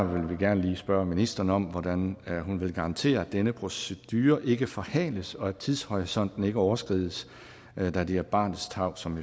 vil vi gerne lige spørge ministeren om hvordan hun vil garantere at denne procedure ikke forhales og at tidshorisonten ikke overskrides da det er barnets tarv som